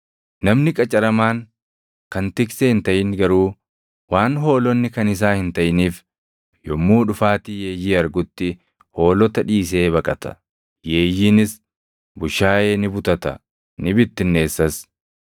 Namni qacaramaan kan tiksee hin taʼin garuu waan hoolonni kan isaa hin taʼiniif yommuu dhufaatii yeeyyii argutti hoolota dhiisee baqata. Yeeyyiinis bushaayee ni butata; ni bittinneessas.